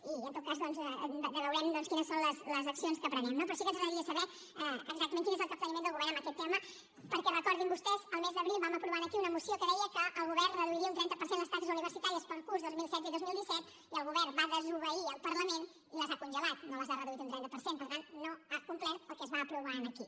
i en tot cas doncs veurem quines són les accions que emprenem no però sí que ens agradaria saber exactament quin és el capteniment del govern en aquest tema perquè recordin ho vostès el mes d’abril vam aprovar aquí una moció que deia que el govern reduiria un trenta per cent les taxes universitàries per al curs dos mil setze dos mil disset i el govern va desobeirha complert el que es va aprovar aquí